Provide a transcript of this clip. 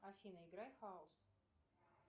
афина играй хаус